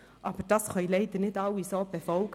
Aber das können leider nicht alle so befolgen.